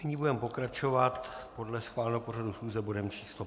Nyní budeme pokračovat podle schváleného pořadu schůze bodem číslo